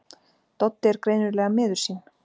Doddi er greinilega miður sín.